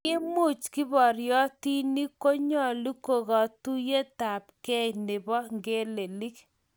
Kiimuch kiboriotinik konyalul katuiyeyabkei nebo ngelelik